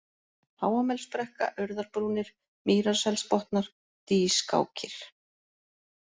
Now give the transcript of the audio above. Háamelsbrekka, Urðarbrúnir, Mýrarselsbotnar, Dýskákir